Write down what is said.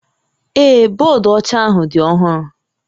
Ee, bọọdụ ọcha ahụ dị ọhụrụ